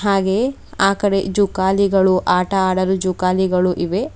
ಹಾಗೆಹೇ ಆ ಕಡೆ ಜೋಕಾಲಿಗಳು ಆಟ ಆಡಲು ಜೋಕಾಲಿಗಳು ಇವೆ.